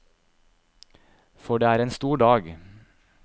For det er en stor dag.